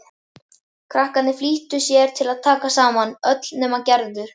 Krakkarnir flýttu sér að taka saman, öll nema Gerður.